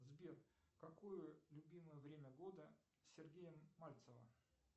сбер какое любимое время года сергея мальцева